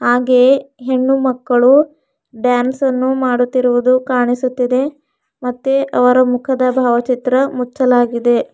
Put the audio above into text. ಹಾಗೆಯೆ ಹೆಣ್ಣು ಮಕ್ಕಳು ಡಾನ್ಸ್ ಅನ್ನು ಮಾಡುತ್ತಿರುವುದು ಕಾಣಿಸುತ್ತಿದೆ ಮತ್ತೆ ಅವರ ಮುಖದ ಭಾವಚಿತ್ರ ಮುಚ್ಚಲಾಗಿದೆ.